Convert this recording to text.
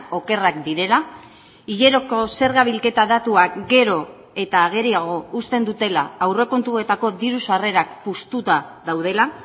okerrak direla hileroko zerga bilketa datuak gero eta ageriago uzten dutela aurrekontuetako diru sarrerak puztuta daudela